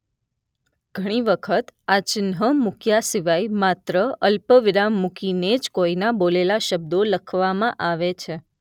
ઘણી વખત આ ચિહ્ન મૂક્યા સિવાય માત્ર અલ્પ વિરામ મૂકીને જ કોઈના બોલેલા શબ્દો લખવામાં આવે છે.